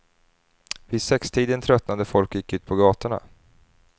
Vid sextiden tröttnade folk och gick ut på gatorna.